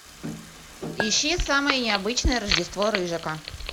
ищи самое необычное рождество рыжика